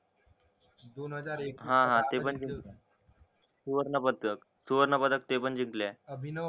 सुवर्ण पातक ते पण जिंकलोय